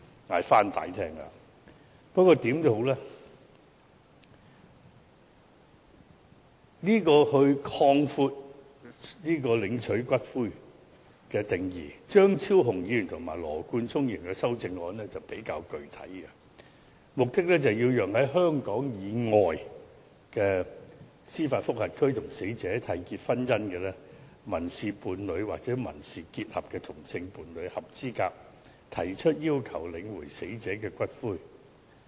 無論如何，對於擴闊領取骨灰的人士的定義，張超雄議員及羅冠聰議員的修正案內容比較具體，目的是讓在香港以外的司法管轄區與死者締結婚姻、民事伴侶或民事結合的同性伴侶合資格提出要求領回死者的骨灰。